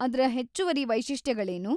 ಅದ್ರ ಹೆಚ್ಚುವರಿ ವೈಶಿಷ್ಟ್ಯಗಳೇನು?